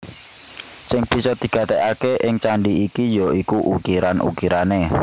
Sing bisa digatekaké ing candhi iki ya iku ukiran ukirané